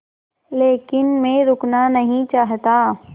लेकिन मैं रुकना नहीं चाहता